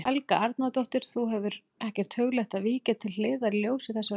Helga Arnardóttir: Þú hefur ekkert hugleitt að víkja til hliðar í ljósi þessarar könnunar?